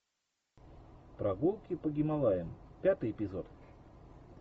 прогулки по гималаям пятый эпизод